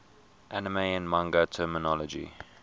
anime and manga terminology